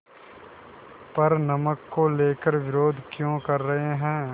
पर नमक को लेकर विरोध क्यों कर रहे हैं